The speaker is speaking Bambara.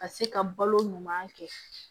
Ka se ka balo ɲuman kɛ